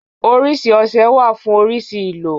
Oríṣi ọṣẹ wà fún oríṣi ìlò.